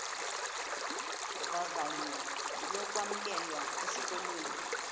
vavanyo lokwamkelwa esikolweni